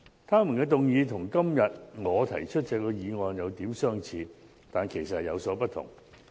他們的議案與今天我提出的議案有點相似，但其實有所不同。